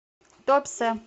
туапсе